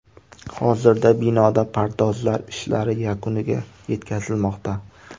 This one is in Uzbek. Hozirda binoda pardozlar ishlari yakuniga yetkazilmoqda.